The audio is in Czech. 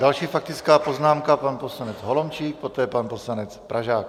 Další faktická poznámka - pan poslanec Holomčík, poté pan poslanec Pražák.